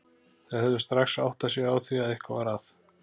Þau hefðu strax áttað sig á því að eitthvað var að.